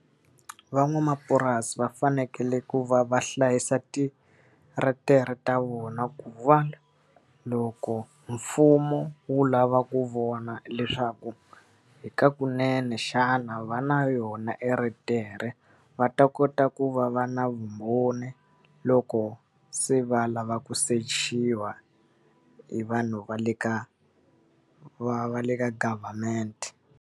Van'wamapurasi va fanekele ku va va hlayisa titeretere ta vona ku va loko mfumo wu lava ku vona leswaku hi kunene xana va na yona titeretere, va ta kota ku va va na vumbhoni loko se va lava ku sechiwa hi vanhu va le ka va va le ka government.